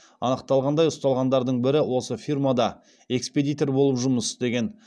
анықталғандай ұсталғандардың бірі осы фирмада экспедитор болып жұмыс істеген